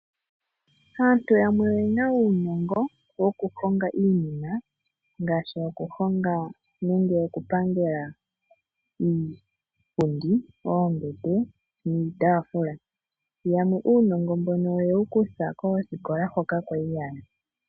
Aantu yamwe oyena uunongo, woku honga iinima, ngaashi okuhonga nenge okupangela iipundi, oombete, niitaafula. Yamwe uunongo mbono oyewu kutha koosikola hoka kwali yaya.